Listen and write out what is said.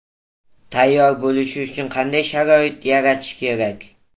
Tayyor bo‘lishi uchun qanday sharoit yaratish kerak?